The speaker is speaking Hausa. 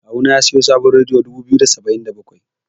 Kawu na ya siyo sabon rediyo dubu biyu da saba'in da bakwai.